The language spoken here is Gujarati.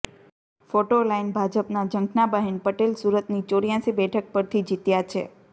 ફોટો લાઈન ભાજપના ઝંખનાબહેન પટેલ સુરતની ચોર્યાસી બેઠક પરથી જીત્યાં છે